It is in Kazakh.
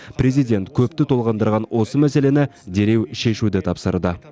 президент көпті толғандырған осы мәселені дереу шешуді тапсырды